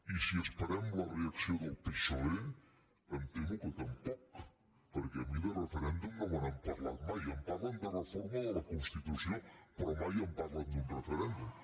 i si esperem la reacció del psoe em temo que tampoc perquè a mi de referèndum no me n’han parlat mai em parlen de reforma de la constitució però mai em parlen d’un referèndum